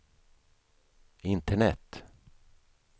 internet